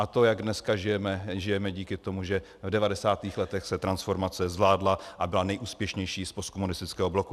A to, jak dneska žijeme, žijeme díky tomu, že v 90. letech se transformace zvládla a byla nejúspěšnější z postkomunistického bloku.